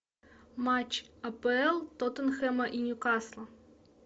матч апл тоттенхэма и ньюкасла